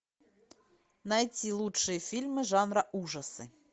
найти лучшие фильмы жанра ужасы